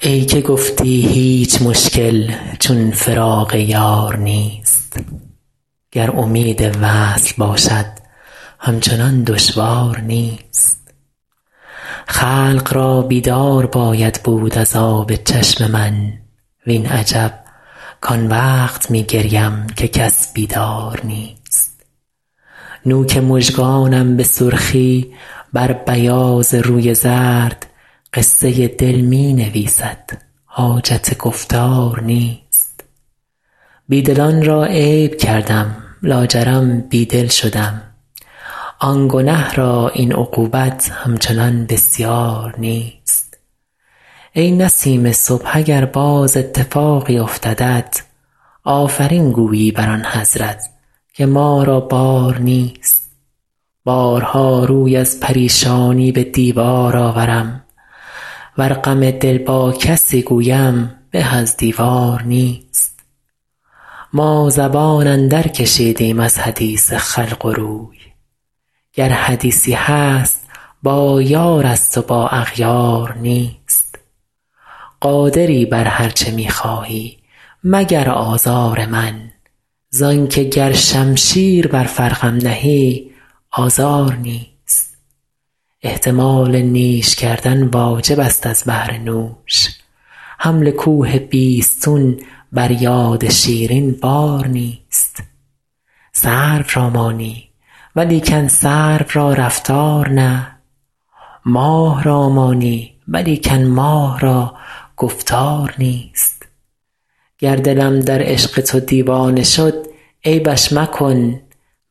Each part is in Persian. ای که گفتی هیچ مشکل چون فراق یار نیست گر امید وصل باشد همچنان دشوار نیست خلق را بیدار باید بود از آب چشم من وین عجب کان وقت می گریم که کس بیدار نیست نوک مژگانم به سرخی بر بیاض روی زرد قصه دل می نویسد حاجت گفتار نیست بی دلان را عیب کردم لاجرم بی دل شدم آن گنه را این عقوبت همچنان بسیار نیست ای نسیم صبح اگر باز اتفاقی افتدت آفرین گویی بر آن حضرت که ما را بار نیست بارها روی از پریشانی به دیوار آورم ور غم دل با کسی گویم به از دیوار نیست ما زبان اندرکشیدیم از حدیث خلق و روی گر حدیثی هست با یارست و با اغیار نیست قادری بر هر چه می خواهی مگر آزار من زان که گر شمشیر بر فرقم نهی آزار نیست احتمال نیش کردن واجبست از بهر نوش حمل کوه بیستون بر یاد شیرین بار نیست سرو را مانی ولیکن سرو را رفتار نه ماه را مانی ولیکن ماه را گفتار نیست گر دلم در عشق تو دیوانه شد عیبش مکن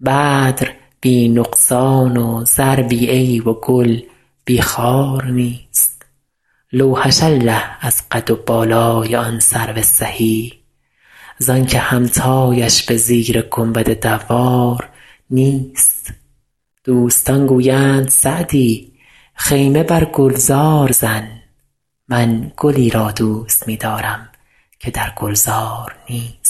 بدر بی نقصان و زر بی عیب و گل بی خار نیست لوحش الله از قد و بالای آن سرو سهی زان که همتایش به زیر گنبد دوار نیست دوستان گویند سعدی خیمه بر گلزار زن من گلی را دوست می دارم که در گلزار نیست